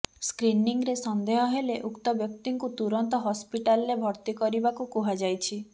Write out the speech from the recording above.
ସ୍କ୍ରିନିଂରେ ସନ୍ଦେହ ହେଲେ ଉକ୍ତ ବ୍ୟକ୍ତିଙ୍କୁ ତୁରନ୍ତ ହସ୍ପିଟାଲରେ ଭର୍ତ୍ତି କରିବାକୁ କୁହାଯାଇଛି